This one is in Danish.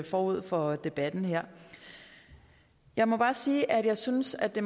forud for debatten her jeg må bare sige at jeg synes at det